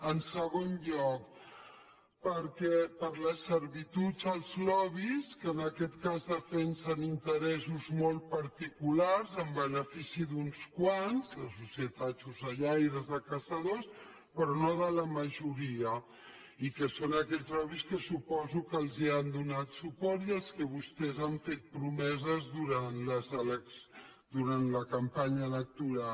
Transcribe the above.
en segon lloc per les servituds als lobbys que en aquest cas defensem interessos molt particulars en benefici d’uns quants les societats d’ocellaires de caçadors però no de la majoria i que són aquests lobbys que suposo que els han donat suport i als quals vostès han fet promeses durant la campanya electoral